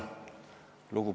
Nad panid sinna oma allkirjad.